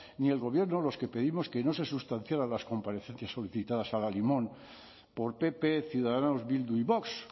ni el gobierno los que pedimos que no se sustanciaran las comparecencias solicitadas al alimón por pp ciudadanos bildu y vox